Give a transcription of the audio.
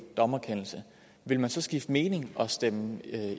dommerkendelse vil man så skifte mening og stemme